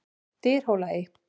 Dyrhólaey